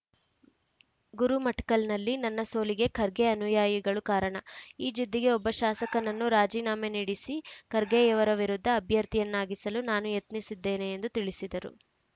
ಗುರುಮಠಕಲ್‌ನಲ್ಲಿ ನನ್ನ ಸೋಲಿಗೆ ಖರ್ಗೆ ಅನುಯಾಯಿಗಳು ಕಾರಣ ಈ ಜಿದ್ದಿಗೆ ಒಬ್ಬ ಶಾಸಕನನ್ನು ರಾಜೀನಾಮೆ ನೀಡಿಸಿ ಖರ್ಗೆಯವರ ವಿರುದ್ಧ ಅಭ್ಯರ್ಥಿಯನ್ನಾಗಿಸಲು ನಾನು ಯತ್ನಿಸಿದ್ದೇನೆ ಎಂದು ತಿಳಿಸಿದರು